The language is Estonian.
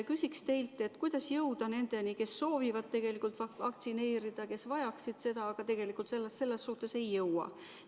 Küsin teilt, kuidas jõuda nendeni, kes soovivad tegelikult vaktsineerida, kes vajaksid seda, aga selleni ei jõua.